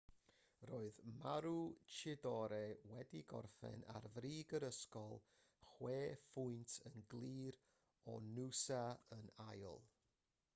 roedd maroochydore wedi gorffen ar frig yr ysgol chwe phwynt yn glir o noosa yn ail